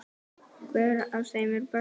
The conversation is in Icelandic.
Hver af þeim er bestur?